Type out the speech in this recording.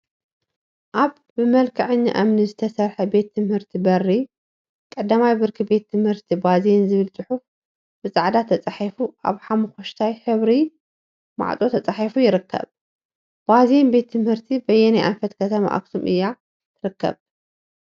አብ ብመልክዐኛ እምኒ ዝተሰርሐ ቤት ትምህርቲ በሪ ቀዳማይ ብርኪ ቤት ትምህርቲ ባዜን ዝብል ፅሑፍ ብፃዕዳ ተፃሒፉ አብ ሓሙክሽታይ ሕብሪ ማዕፆ ተፃሒፉ ይርከብ፡፡ ባዜን ቤት ትምህርቲ በየናይ አንፈት ከተማ አክሱም እያ ትርከብ?